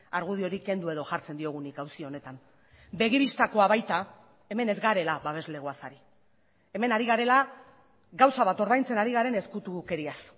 argudiorik kendu edo jartzen diogun nik auzi honetan begi bistakoa baita hemen ez garela babeslegoaz ari hemen ari garela gauza bat ordaintzen ari garen ezkutukeriaz